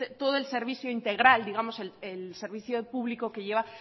todo el servicio integral digamos el servicio público que lleva